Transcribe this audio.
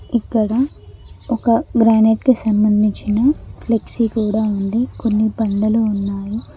ఇక్కడ ఒక గ్రానెట్కి సంబంధించిన ఫ్లెక్సీ కూడ ఉంది కొన్ని బండలు ఉన్నాయి.